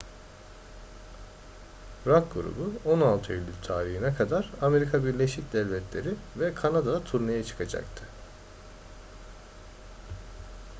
rock grubu 16 eylül tarihine kadar amerika birleşik devletleri ve kanada'da turneye çıkacaktı